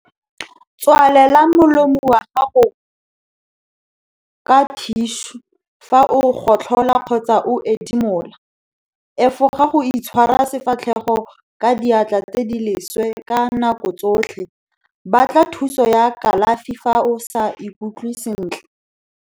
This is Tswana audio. Tswalela molomo wa gago ka thišu fa o gotlhola kgotsa o ethimola. Efoga go itshwara sefatlhego ka diatla tse di leswe ka nako tsotlhe. Batla thuso ya kalafi fa o sa ikutlwe sentle.